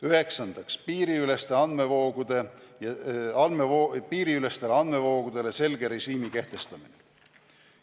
Üheksandaks, piiriülestele andmevoogudele selge režiimi kehtestamine.